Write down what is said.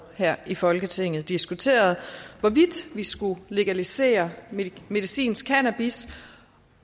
her i folketinget diskuteret hvorvidt vi skulle legalisere medicinsk cannabis